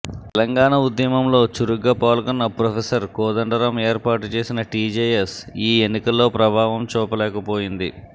తెలంగాణ ఉద్యమంలో చురుగ్గా పాల్గొన్న ప్రొఫెసర్ కోదండరాం ఏర్పాటు చేసిన టీజేఎస్ ఈ ఎన్నికల్లో ప్రభావం చూపలేకపోయింది